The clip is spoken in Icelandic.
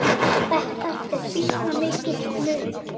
Þetta er býsna mikill munur.